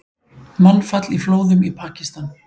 Mannfall í flóðum í Pakistan